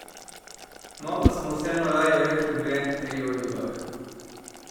No, pa smo vseeno raje rekli dve, tri o ribah.